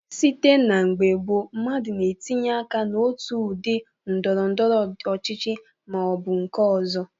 Site n'mgbe gboo, mmadụ na-etinye aka n'otu udị ndọrọndọrọ ọchịchị ma ọ bụ nke ọzọ.